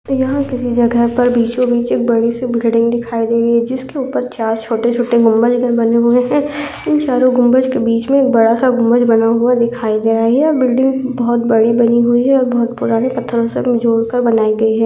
यह किसी जगह पर बीचो बीच एक बड़ी सी बिल्डिंग दिखाई दे रही है जिसके उपर चार छोटे छोटे गुम्बज बने हुए है इन चारो गुम्बज के बिच में एक बड़ा सा गुम्बज बना हुवा दिखाई दे रहा है बिल्डिंग बोहोत बड़ी बनी हुई है और बोहोत पुराने पत्थरो से जोड़कर बनाई गई है।